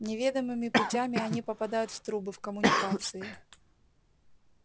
неведомыми путями они попадают в трубы в коммуникации